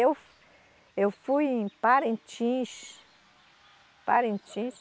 Eu, eu fui em Parintins, Parintins...